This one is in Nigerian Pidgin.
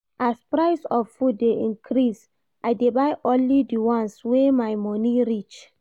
As price of food dey increase, I dey buy only di ones wey my moni reach.